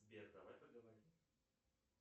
сбер давай поговорим